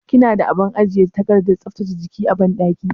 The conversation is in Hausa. Kina da abin ajiye takardar tsaftace jiki a banɗaki?